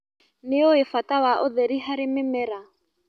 Nĩũĩ bata wa ũtheri harĩ mĩmera.